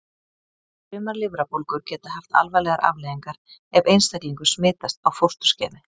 Sumar lifrarbólgur geta haft alvarlegar afleiðingar ef einstaklingur smitast á fósturskeiði.